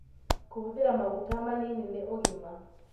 Kũhũthĩra maguta manini nĩ ũgima